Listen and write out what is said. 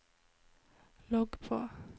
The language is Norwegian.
logg på